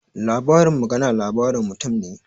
Labarin magana labarin mutum ne